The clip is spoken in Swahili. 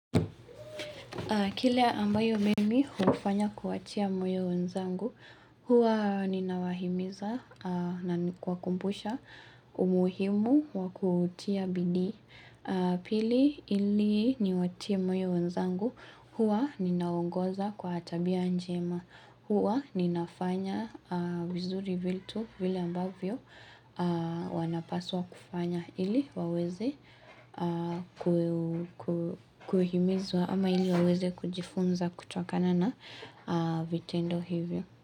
Kile ambayo mimi hufanya kuwatia moyo wenzangu huwa ninawahimiza na ni kuwakumbusha umuhimu wa kutia bidii Pili ili niwatie moyo wenzangu huwa ninawaongoza kwa tabia njema huwa ninafanya vizuri vitu vile ambavyo wanapaswa kufanya ili waweze kuhimizwa ama ili waweze kujifunza kutokana na vitendo hivyo.